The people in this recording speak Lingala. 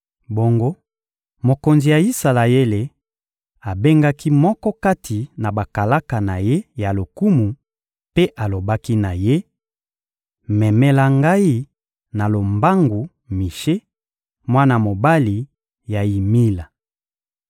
Bongo, mokonzi ya Isalaele abengaki moko kati na bakalaka na ye ya lokumu mpe alobaki na ye: «Memela ngai na lombangu Mishe, mwana mobali ya Yimila.»